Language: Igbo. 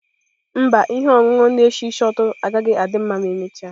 Mba, ihe ọṅụṅụ na-esi ísì ụtọ agaghị adị ma emechaa.